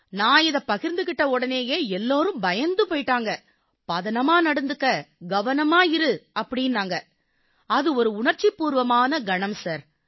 நான் இதைப் பகிர்ந்துக்கிட்ட உடனேயே எல்லாரும் பயந்து போயிட்டாங்க பதனமாக நடந்துக்க கவனமா இரு அப்படீன்னாங்க அது உணர்ச்சிபூர்வமான ஒரு கணம் சார்